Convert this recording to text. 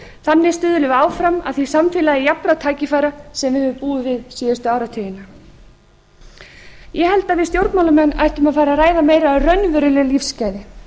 þannig stuðlum við áfram að því samfélagi jafnra tækifæra sem við höfum búið við síðustu áratugina ég held að við stjórnmálamenn ættum að fara að ræða meira um raunveruleg lífsgæði